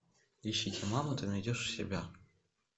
ищите мама ты найдешь у себя